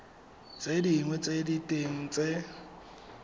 tse dinnye tsa diteng tse